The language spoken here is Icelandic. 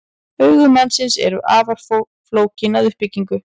Augu mannsins eru afar flókin að uppbyggingu.